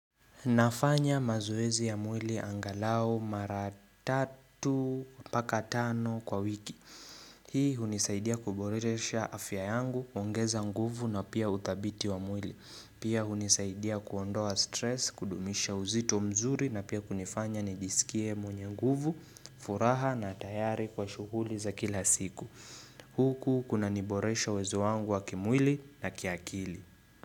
Nafanya mazoezi ya mwili angalao mara tatu paka tano kwa wiki. Hii unisaidia kuboresha afya yangu, kuongeza nguvu na pia uthabiti wa mwili. Pia unisaidia kuondoa stress, kudumisha uzito mzuri na pia kunifanya nijisikie mwenye nguvu, furaha na tayari kwa shuguli za kila siku. Huku kunaniboresha uwezo wangu wa kimwili na kiakili.